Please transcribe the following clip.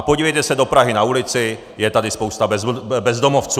A podívejte se do Prahy na ulici, je tady spousta bezdomovců.